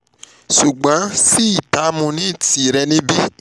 ṣugbọn si ibamu ni irẹ nibi ko si idi lati ṣàníyàn